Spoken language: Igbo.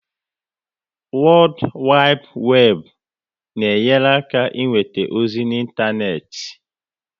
Wodu Wibu Webu na enyere aka inweta ozi na ịntanetị